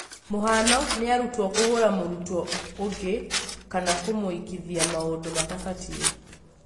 mũhano nĩ arutwo kũhũra mũrutwo ũngĩ kana kũmũĩkithia maũndũ matabatie.